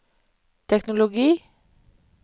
teknologi